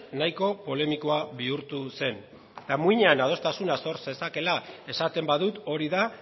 nahiko polemikoa bihurtu zen eta muinean adostasuna sor zezakeela esaten badut hori da